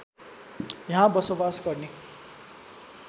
यहाँ बसोवास गर्ने